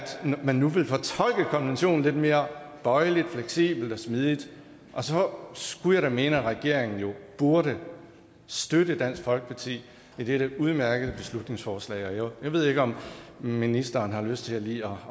man nu vil fortolke konventionen lidt mere bøjeligt fleksibelt og smidigt så skulle jeg da mene at regeringen burde støtte dansk folkeparti i dette udmærkede beslutningsforslag jeg ved ikke om ministeren har lyst til lige